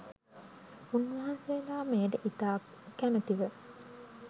උන්වහන්සේලා මෙයට ඉතා කමැති ව